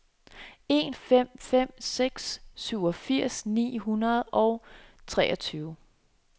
en fem fem seks syvogfirs ni hundrede og treogtyve